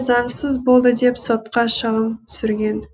заңсыз болды деп сотқа шағым түсірген